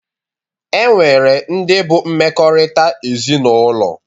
E nwere ndị bụ mmekọrịta ezinaụlọ